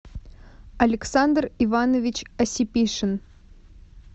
александр иванович осипишин